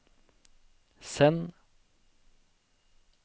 send